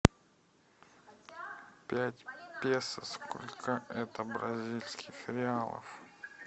пять песо сколько это бразильских реалов